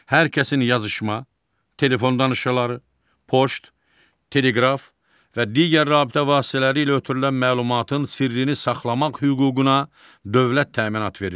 Hər kəsin yazışma, telefon danışıqları, poçt, teleqraf və digər rabitə vasitələri ilə ötürülən məlumatın sirrini saxlamaq hüququna dövlət təminat verir.